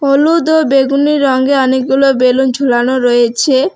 হলুদ ও বেগুনী রঙে অনেকগুলো বেলুন ঝুলানো রয়েছে।